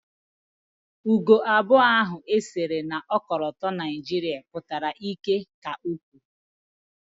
Ugo abụọ ahụ e sere na ọkọlọtọ Naijiria pụtara ịkẹ́ ka o kwuru